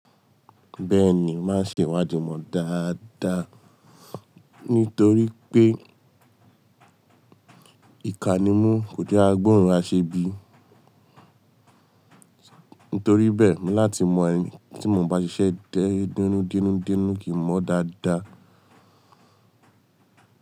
Bẹ́ẹ̀ni, màá ṣe ìwádìí mọ̀ dáadáa nítorí pé ìkà nimu kòje a gbóòórùn ase bí. Nítoríbẹ̀ẹ́ mo láti mọ ẹni tí mò ń bá ṣiṣẹ́ dẹ́ denudenu kì í mọ dáada.